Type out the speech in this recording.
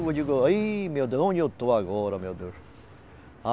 Eu digo, aí, meu Deus, onde eu estou agora, meu Deus?